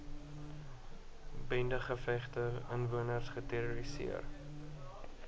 bendegevegte inwoners geterroriseer